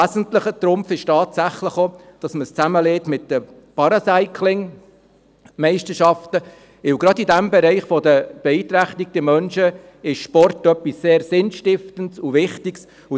Ein wesentlicher Trumpf ist tatsächlich auch, dass man es mit der Paracycling-WM zusammenlegt, weil gerade in diesem Bereich der beeinträchtigten Menschen Sport etwas sehr Sinnstiftendes und Wichtiges ist.